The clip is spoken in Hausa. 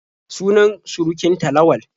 Sunan surukin ta Lawal.